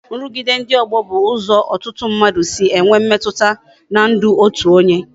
Nrugide ndị ọgbọ bụ ụzọ ọtụtụ mmadụ si enwe mmetụta n'ndụ otu onye